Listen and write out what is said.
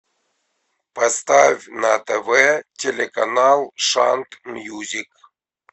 поставь на тв телеканал шант мьюзик